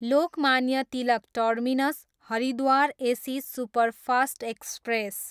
Lokmanya Tilak terminus, Haridwar AC superfast express